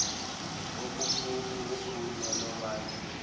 okufuphi wegunya loomantyi